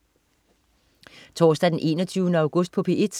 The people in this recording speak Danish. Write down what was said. Torsdag den 21. august - P1: